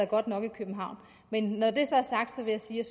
godt nok i københavn men når det så er sagt vil jeg sige at